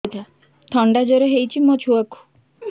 ଥଣ୍ଡା ଜର ହେଇଚି ମୋ ଛୁଆକୁ